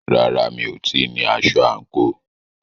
Rárá, mi ò tíì ní aṣọ àǹkóò.